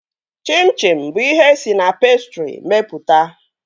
Chim chim bụ ihe esi na pestrị mepụta